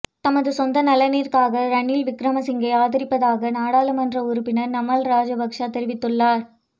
தமது சொந்த நலனிற்காக ரணில் விக்கிரமசிங்கவை ஆதரிப்பதாக நாடாளுமன்ற உறுப்பினர் நாமல் ராஜபக்ச தெரிவித்துள்ளார்